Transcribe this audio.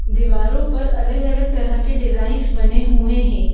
दीवारों पर अलग-अलग तरह के डिजाइंस बने हुए हैं।